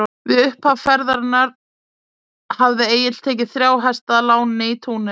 Við upphaf ferðarinnar hafði Egill tekið þrjá hesta að láni í Túnis.